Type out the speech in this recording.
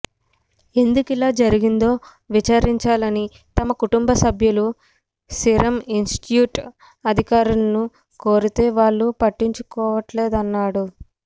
ఎందుకిలా జరిగిందో విచారించాలని తమ కుటుంబ సభ్యులు సీరమ్ ఇన్స్టిట్యూట్ అధికారులను కోరితే వాళ్లు పట్టించుకోవట్లేదన్నాడు